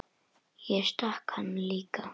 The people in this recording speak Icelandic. Ég stakk hann líka.